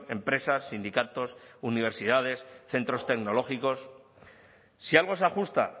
empresas sindicatos universidades centros tecnológicos si algo se ajusta